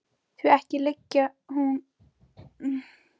Því ekki liggi hún í rúmfötum annars fólks.